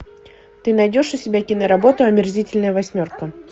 ты найдешь у себя киноработу омерзительная восьмерка